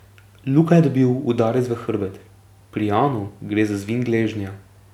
Luka je dobil udarec v hrbet, pri Janu gre za zvin gležnja.